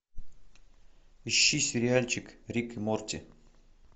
ищи сериальчик рик и морти